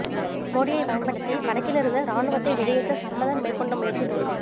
மோடியைப் பயன்படுத்தி வடக்கிலிருந்து இராணுவத்தை வெளியேற்ற சம்பந்தன் மேற்கொண்ட முயற்சி தோல்வி